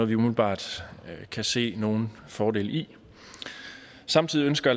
vi umiddelbart kan se nogen fordel i samtidig ønsker